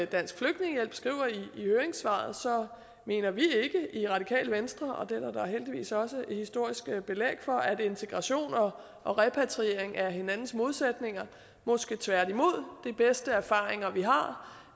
dansk flygtningehjælp skriver i høringssvaret mener vi i radikale venstre ikke og det er der da heldigvis også historiske belæg for at integration og og repatriering er hinandens modsætninger måske tværtimod de bedste erfaringer vi har